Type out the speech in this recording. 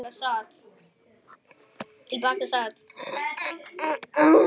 Þessi bók verður ekki allra.